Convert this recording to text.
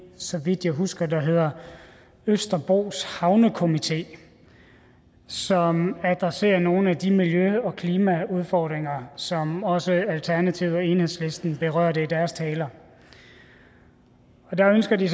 så vidt jeg husker hedder østerbros havnekomité som adresserer nogle af de miljø og klimaudfordringer som også alternativet og enhedslisten berørte i deres taler der ønsker de